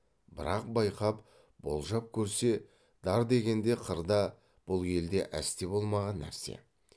бірақ байқап болжап көрсе дар дегенде қырда бұл елде әсте болмаған нәрсе